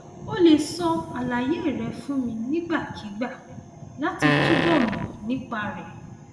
o lè sọ àlàyé rẹ fún mi nígbàkigbà láti túbọ mọ nípa rẹ